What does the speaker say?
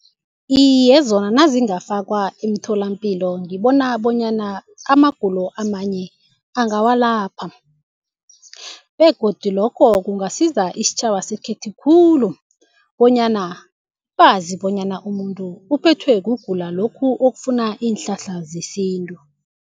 Iye, zona nazingafakwa emtholampilo ngibona bonyana amagulo amanye angawalapha begodu lokho kungasiza isitjhaba sekhethu khulu bonyana bazi bonyana umuntu uphethwe kugula lokhu okufuna iinhlahla zesintu.